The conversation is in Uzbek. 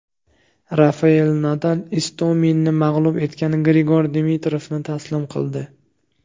Rafayel Nadal Istominni mag‘lub etgan Grigor Dimitrovni taslim qildi.